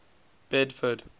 bedford